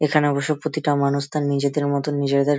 এখানে অবশ্য প্রতিটা মানুষ তার নিজেদের মতো নিজেদের--